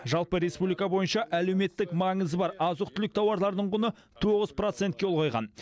жалпы республика бойынша әлеуметтік маңызы бар азық түлік тауарларының құны тоғыз процентке ұлғайған